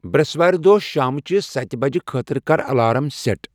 بریسوارِ دوہ شامچِہ ستِہ بج خٲطر کر الارام سیٹ ۔